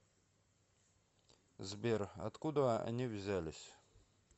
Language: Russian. сбер откуда они взялись